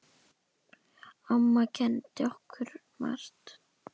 Amma kenndi okkur margt.